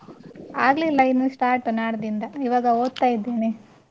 ಆಗ್ಲಿಲ್ಲ ಇನ್ನು start ನಾಳ್ದ್ರಿಂದ ಇವಾಗ ಓದ್ತಾ ಇದ್ದೇನೆ.